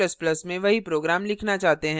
यदि हम c ++ में वही program लिखना चाहते हैं